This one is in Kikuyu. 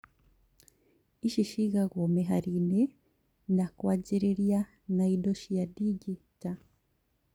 Ici cigagwo mĩhari-inĩ na kwanjĩrĩria na indo cia ndigi ta